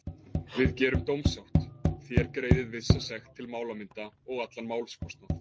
Við gerum dómssátt, þér greiðið vissa sekt til málamynda og allan málskostnað.